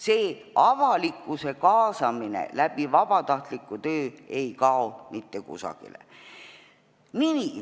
See avalikkuse kaasamine vabatahtliku töö kaudu ei kao mitte kusagile.